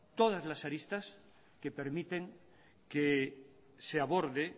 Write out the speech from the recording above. todas las aristas que permiten que se aborde